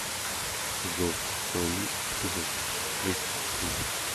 зов крови эпизод тридцать три